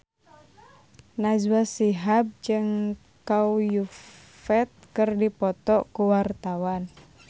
Najwa Shihab jeung Chow Yun Fat keur dipoto ku wartawan